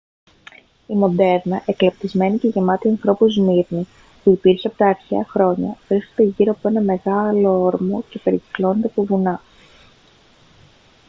η μοντέρνα εκλεπτυσμένη και γεμάτη ανθρώπους σμύρνη που υπήρχε από τα αρχαία χρόνια βρίσκεται γύρω από έναν πολύ μεγάλο όρμο και περικυκλώνεται από βουνά